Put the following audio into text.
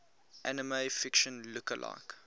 anime fiction lookalike